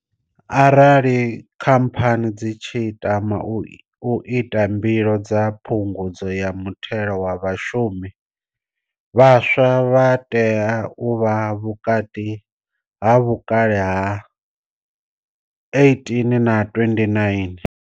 Arali khamphani dzi tshi tama u ita mbilo dza phungudzo ya muthelo wa vhashumi, vhaswa vha tea u vha vhukati ha vhukale ha 18 na 29.